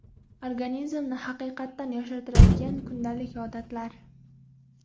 Organizmni haqiqatan yoshartiradigan kundalik odatlar.